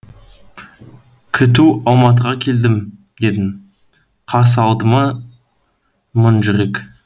күту алматыға келдім дедің қарсы алды ма мың жүрек